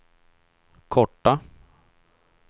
korta